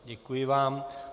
Děkuji vám.